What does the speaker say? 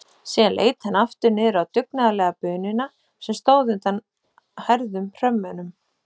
Síðan leit hann aftur niður á dugnaðarlega bununa sem stóð undan hærðum hrömmunum.